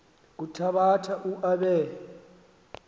kuthabatha u aabe